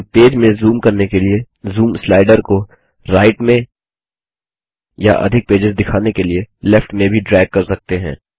हम पेज में जूम करने के लिए जूम स्लाइडर को राइट में या अधिक पेजेस दिखाने के लिए लेफ्ट में भी ड्रैग कर सकते हैं